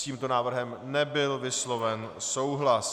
S tímto návrhem nebyl vysloven souhlas.